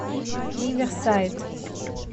риверсайд